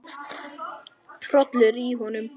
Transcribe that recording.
Hrollur í honum.